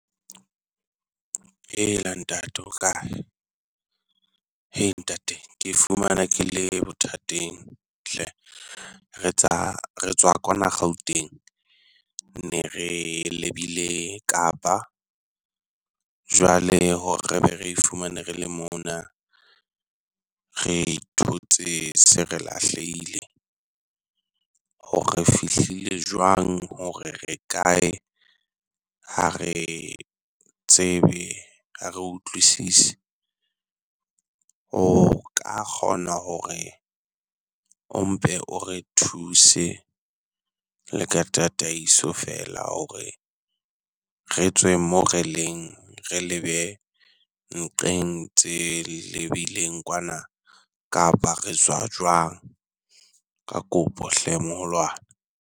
Eya ntate o kae? He ntate ke fumana ke le bothateng hle, re tsa re tswa kwana Gauteng ne re lebile Kapa. Jwale hore re be re ifumane re le mona, re thotse se re lahlehile hore re fihlile jwang hore re kae, ha re tsebe ha re utlwisise. O ka kgona hore o mpe o re thuse le ka tataiso feela hore re tswe mo re leng re lebe nqeng tse lebileng kwana, kapa re tswa jwang? Ka kopo hle moholwane.